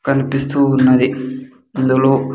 కనిపిస్తూ ఉన్నది ఇందులో.